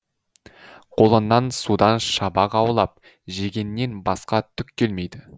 қолыңнан судан шабақ аулап жегеннен басқа түк келмейді